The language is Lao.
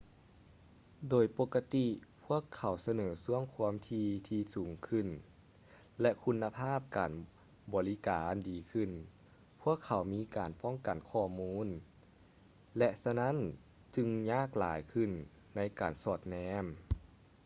ໂດຍປົກກະຕິ ພວກເຂົາສະເໜີຊ່ວງຄວາມຖີ່ທີ່ສູງຂຶ້ນ ແລະ ຄຸນນະພາບການບໍລິການດີຂື້ນ ພວກເຂົາມີການປ້ອງກັນຂໍ້ມູນ ແລະ ສະນັ້ນຈຶ່ງຍາກຫຼາຍຂື້ນໃນການສອດແນມ